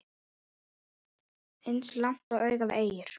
Eins langt og augað eygir.